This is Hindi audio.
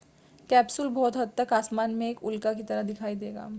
कैप्सूल बहुत हद तक आसमान में एक उल्का की तरह दिखाई देगा